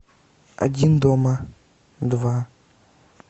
один дома два